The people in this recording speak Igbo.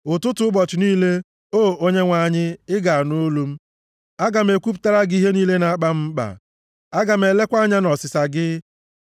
Ụtụtụ ụbọchị niile, O Onyenwe anyị, ị ga-anụ olu m; aga m ekwupụtara gị ihe niile na-akpa m mkpa. Aga m elekwa anya ọsịsa gị.